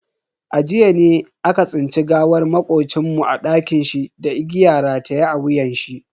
A jiya ne aka tsinci gawar makocin mu a dakinshi da igiya rataye a wuyanshi.